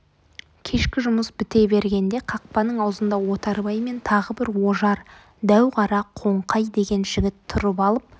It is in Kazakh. кешкі жұмыс біте бергенде қақпаның аузында отарбай мен тағы бір ожар дәу қара қоңқай деген жігіт тұрып алып